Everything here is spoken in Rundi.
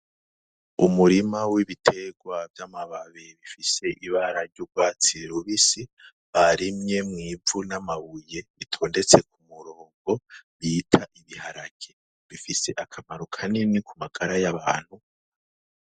Umurima w'ibiterwa vy'amababi bifise ibara ry'urwatsi rubisi barimye mw'ivu n'amabuye bitondetse ku murongo bita ibiharage bifise akamaro kanini ku magara y'abantu.